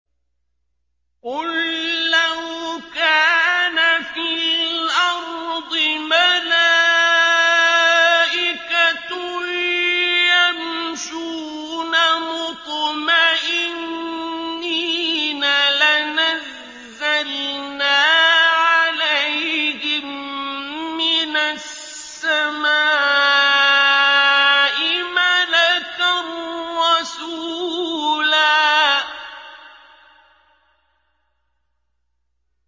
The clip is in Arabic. قُل لَّوْ كَانَ فِي الْأَرْضِ مَلَائِكَةٌ يَمْشُونَ مُطْمَئِنِّينَ لَنَزَّلْنَا عَلَيْهِم مِّنَ السَّمَاءِ مَلَكًا رَّسُولًا